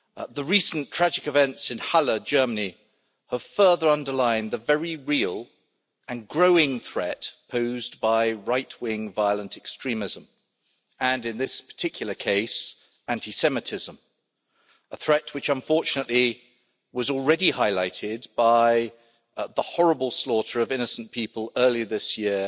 The recent tragic events in Halle, Germany, have further underlined the very real and growing threat posed by right-wing violent extremism and, in this particular case, anti Semitism, a threat already highlighted by the horrible slaughter of innocent people earlier this year